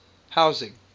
housing